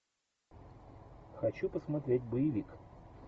хочу посмотреть боевик